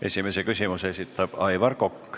Esimese küsimuse esitab Aivar Kokk.